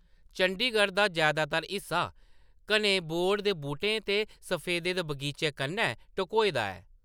चंडीगढ़ दा जैदातर हिस्सा घने बोढ़ दे बूह्‌टें ते सफैदे दे बगीचें कन्नै ढकोए दा ऐ।